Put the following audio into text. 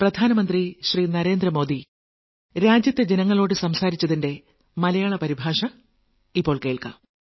ഇരുപത്തിയൊന്നാം ലക്കം